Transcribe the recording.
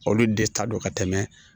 Olu de ta don ka tɛmɛ